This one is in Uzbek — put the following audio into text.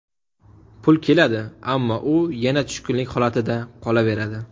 Pul keladi, ammo u yana tushkunlik holatida qolaveradi.